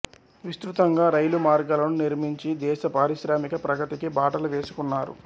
విస్తృతంగా రైలు మార్గాలను నిర్మించి దేశ పారిశ్రామిక ప్రగతికి బాటలు వేసుకున్నారు